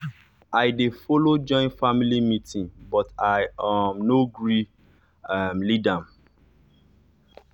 i dey follow join family meeting but i um nor gree um lead am.